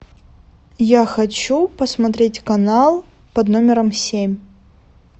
я хочу посмотреть канал под номером семь